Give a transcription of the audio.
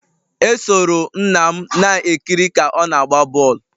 Esoro nna m na-ekiri ka ọ na-agba bọl